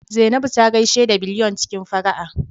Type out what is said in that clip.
Zainabu ta gaishe da Biliyon cikin fara'a